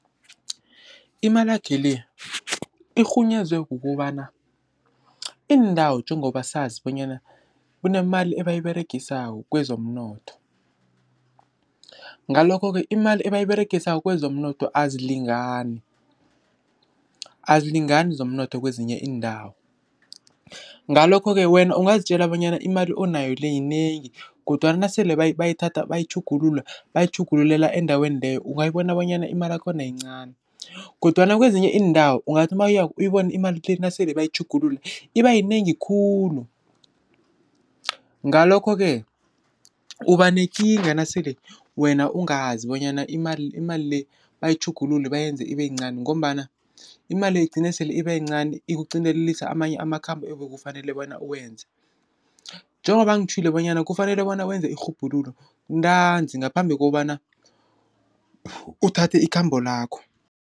Imalakhe le, irhunyezwe kukobana iindawo njengobasazi bonyana kunemali abayiberegisawo kwezomnotho. Ngalokho-ke imali ebayiberegisawo kwezomnotho azilingani, azilingani zemnotho zikwezinye iindawo, Ngalokho-ke wena ungazitjela bonyana imali onayo le, yinengi, kodwana nasele bayithatha bayitjhugulula, bayitjhugululela endaweni leyo, ungayiboni bonyana imalakhona yincani, kodwana kwezinye iindawo, ungathi mawuyako uyibone imali le, nasele bayitjhugulula ibayinengi khulu. Ngalokho-ke ubanekinga nasele wena ungazi, bonyana imali le, bayitjhugulule bayenze ibayincani, ngombana imali le, igcine sele ibayincani ukugcindelise amanye amakhambo ebukufanele bona uwenze. Njengoba ngitjhwile, bonyana kufanele bona wenze irhubhululo ntanzi ngaphambi kobana uthathe ikhambo lakho.